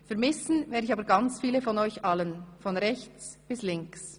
Vermissen werde ich aber ganz viele von euch allen – von rechts bis links!